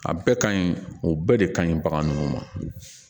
A bɛɛ ka ɲi o bɛɛ de kaɲi bagan ninnu ma